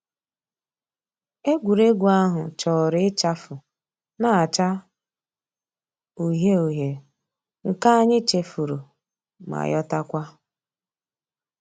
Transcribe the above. Ègwè́ré́gwụ̀ àhụ̀ chọ̀rọ̀ ịchàfụ̀ nà-àchá ǔhíe ǔhíe, nke ànyị̀ chèfùrù mà yotakwa.